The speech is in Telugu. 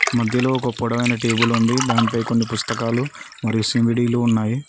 మధ్యలో ఒక పొడవైన టేబుల్ ఉంది దానిపై కొన్ని పుస్తకాలు మరియు సి_డి లు ఉన్నాయి.